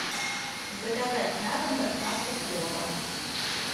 заказать на дом доставку плова